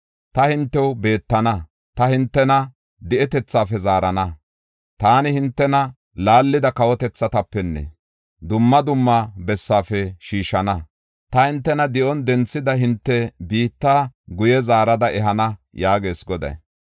Ta hintew bentana; ta hintena di7etethaafe zaarana. Taani hintena laallida kawotethatapenne dumma dumma bessaafe shiishana. Ta hintena di7on denthida hinte biitta guye zaarada ehana” yaagees Goday.